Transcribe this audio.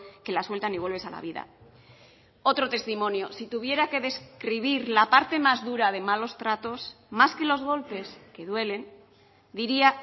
que la sueltan y vuelves a la vida otro testimonio si tuviera que describir la parte más dura de malos tratos más que los golpes que duelen diría